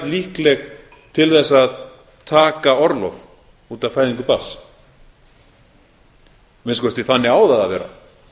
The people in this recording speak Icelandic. líkleg til þess að taka orlof út af fæðingu barns að minnsta kosti þannig á það að vera